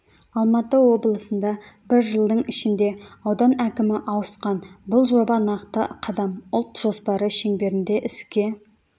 алматы облысында бір жылдың ішінде аудан әкімі ауысқан бұл жоба нақты қадам ұлт жоспары шеңберінде іске